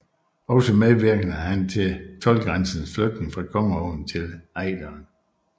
Også medvirkede han til toldgrænsens flytning fra Kongeåen til Ejderen